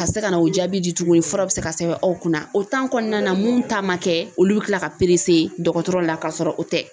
Ka se ka na o jaabi di tuguni fura be se ka sɛbɛn aw kunna o kɔnɔna na mun ta ma kɛ olu bɛ kila ka dɔgɔtɔrɔ la ka sɔrɔ o tɛ.